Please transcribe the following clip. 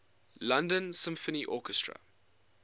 london symphony orchestra